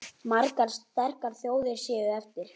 Margar sterkar þjóðir séu eftir.